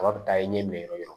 Kaba bɛ taa i ɲɛ yɔrɔ yɔrɔ